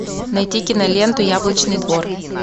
найти киноленту яблочный двор